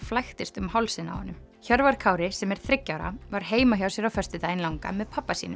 flæktist um hálsinn á honum Hjörvar Kári sem er þriggja ára var heima hjá sér á föstudaginn langa með pabba sínum